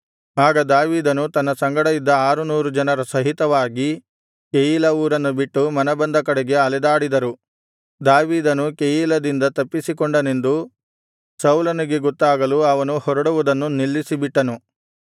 ಆಗ ದಾವೀದನು ತನ್ನ ಸಂಗಡ ಇದ್ದ ಆರುನೂರು ಜನರ ಸಹಿತವಾಗಿ ಕೆಯೀಲಾ ಊರನ್ನು ಬಿಟ್ಟು ಮನಬಂದ ಕಡೆಗೆ ಅಲೆದಾಡಿದರು ದಾವೀದನು ಕೆಯೀಲದಿಂದ ತಪ್ಪಿಸಿಕೊಂಡನೆಂದು ಸೌಲನಿಗೆ ಗೊತ್ತಾಗಲು ಅವನು ಹೊರಡುವುದನ್ನು ನಿಲ್ಲಿಸಿಬಿಟ್ಟನು